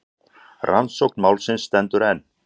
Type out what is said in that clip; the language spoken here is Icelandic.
Rannsókn málsins stendur enn.